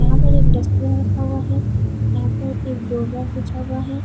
यहाँ पर डस्टबिन रखा हुआ है यहाँ पर एक डोरमैट बिछा हुआ है।